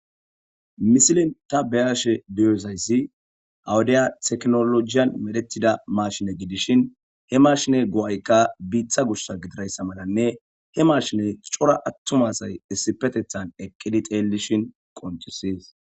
misilin ta beyashe duyozayssi awudiya teknolojiyan medetida mashine gidishin he mashiney go7aykka biitha gushsa gidirayssa malanne he mashiney cora attum asay issipetethan eqqidi xeellishin qoncisi